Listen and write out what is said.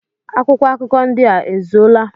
Akwụkwọ akụkọ ndị a ezuola?